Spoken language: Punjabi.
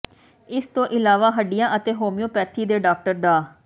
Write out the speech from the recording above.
ਇਸ ਤੋਂ ਇਲਾਵਾ ਹੱਡੀਆਂ ਅਤੇ ਹੋਮੀਓਪੈਥੀ ਦੇ ਡਾਕਟਰ ਡਾ